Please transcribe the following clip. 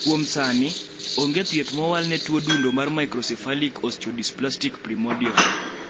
kuom sani ,ionge thieth mowal ne tuo dundo mar microcephalic osteodysplastic primordial